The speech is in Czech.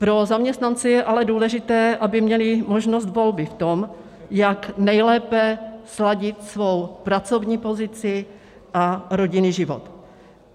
Pro zaměstnance je ale důležité, aby měli možnost volby v tom, jak nejlépe sladit svou pracovní pozici a rodinný život.